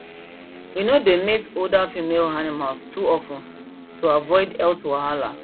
we no dey mate older female animals too of ten to avoid health wahala